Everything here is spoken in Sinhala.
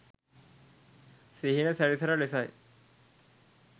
සිහින සැරිසර ලෙස යි.